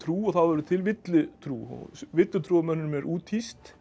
og þá verður til villutrú villutrú villutrúarmönnum er úthýst